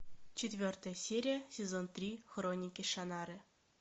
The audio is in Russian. четвертая серия сезон три хроники шаннары